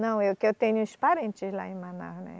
Não, eu que eu tenho uns parentes lá em Manaus, né?